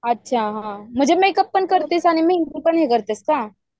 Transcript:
म्हणजे मेकअप पण करिसी आणि मेहंदी पण करतेस काय?